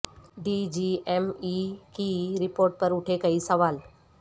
D G M E کی report پر اٹھے کئی سوال